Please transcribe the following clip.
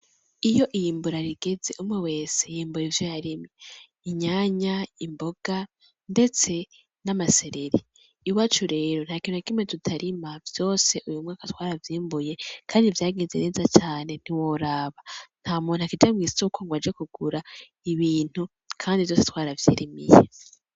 Iyo iyimbura rigeze umwe wese yimbura ivyo yarimye. Inyanya, imboga ndetse n'amasereri. Iwacu rero, ntakintu na kimwe tutarima. Vyose uyu mwaka twaravyimbuye kandi vyagenze neza cane ntiworaba, ntamuntu akija mw'isoko ngo aje kugura ibintu kandi vyose twaravyirimiye.